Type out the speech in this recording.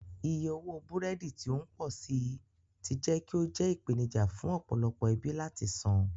Iye owó búrẹ́dì tí ó ń pọ̀ sí i ti jẹ́ kí ó jẹ́ ìpèníjà fún ọ̀pọ̀lọpọ̀ ẹbí láti san.